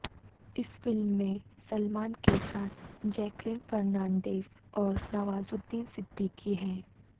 اس film میں سلمان کے ساتھ جیکلین فرنانڈیز اور نوازالدین صدیقی ہیں